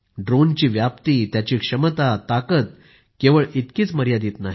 ड्रोनची व्याप्ती त्याची क्षमता ताकद केवळ इतकी मर्यादित नाही